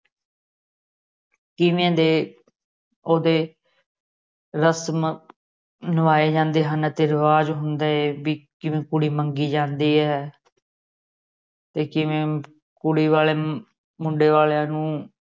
ਕਿਵੇਂ ਦੇ ਉਹਦੇ ਰਸਮਾਂ ਨਿਭਾਏ ਜਾਂਦੇ ਹਨ ਤੇ ਰਿਵਾਜ਼ ਹੁੰਦੇ ਬੀ ਕਿਵੇਂ ਕੁੜੀ ਮੰਗੀ ਜਾਂਦੀ ਏ ਤੇ ਕਿਵੇਂ ਕੁੜੀ ਵਾਲੇ ਮੁੰਡੇ ਵਾਲਿਆਂ ਨੂੰ